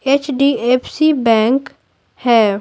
HDFC bank है।